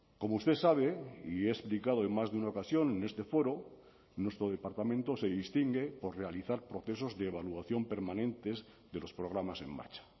como usted sabe y he explicado en más de una ocasión en este foro nuestro departamento se distingue por realizar procesos de evaluación permanentes de los programas en marcha